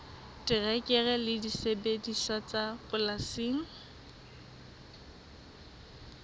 terekere le disebediswa tsa polasing